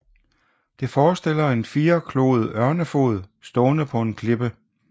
Det forestiller en firekloet ørnefod stående på en klippe